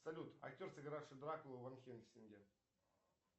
салют актер сыгравший дракулу в ван хельсинге